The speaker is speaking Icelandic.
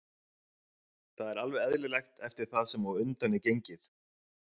Það er alveg eðlilegt eftir það sem á undan er gengið.